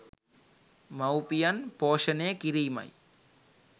මවුපියන් පෝෂණය කිරීමයි.